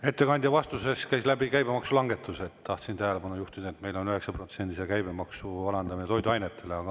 Ettekandja vastusest käis läbi käibemaksulangetused, tahtsin tähelepanu juhtida, et meil on 9%-se käibemaksu alandamine toiduainetele.